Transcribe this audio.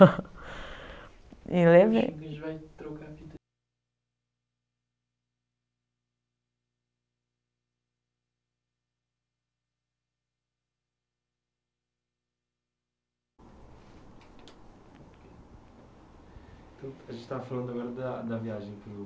E levei. Tipo a gente vai trocando. A gente estava falando agora da da viagem